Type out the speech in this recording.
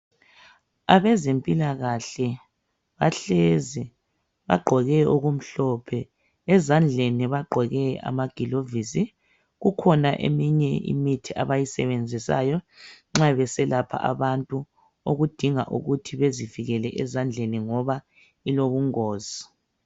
Abezempilakahle bahlezi ,bagqoke okumhlophe , ezandleni bagqoke amagilovisi. Kukhona eminye imithi abayisebenzisayo nxa beselapha abantu okudinga ukuthi bezivikele ezandleni ngoba ilobungozi.